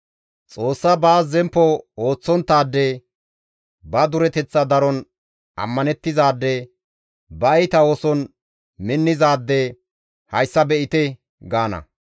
«Xoossa baas zemppo ooththonttaade, ba dureteththa daron ammanettizaade ba iita ooson minnizaade hayssa be7ite!» gaana.